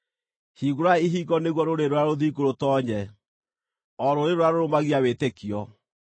Hingũrai ihingo nĩguo rũrĩrĩ rũrĩa rũthingu rũtoonye, o rũrĩrĩ rũrĩa rũrũmagia wĩtĩkio.